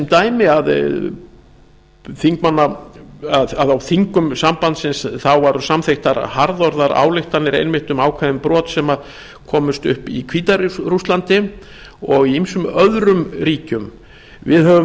dæmi að á þingum sambandsins voru samþykktar harðorðar ályktanir einmitt um ákveðin brot sem komust upp í hvíta rússlandi og í ýmsum öðrum ríkjum við höfum